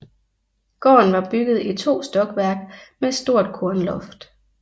Gården var bygget i to stokværk med stort kornloft